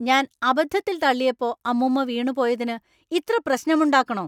ഞാൻ അബദ്ധത്തിൽ തള്ളിയപ്പോ അമ്മൂമ്മ വീണു പോയതിന് ഇത്ര പ്രശ്നമുണ്ടാക്കണോ?